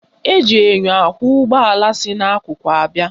Eji enyo ahụ ụgbọala si n'akụkụ abịa